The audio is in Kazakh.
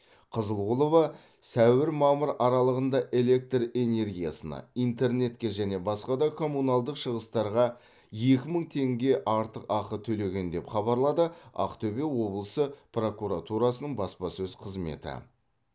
қызылғұлова сәуір мамыр аралығында электр энергиясына интернетке және басқа да коммуналдық шығыстарға екі мың теңге артық ақы төлеген деп хабарлады ақтөбе облысы прокуратурасының баспасөз қызметі